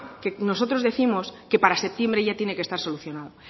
que nosotros décimos que para septiembre ya tiene que estar solucionado